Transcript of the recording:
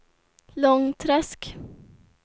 Långträsk